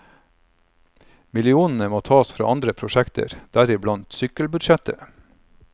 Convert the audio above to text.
Millionene må tas fra andre prosjekter, deriblant sykkelbudsjettet.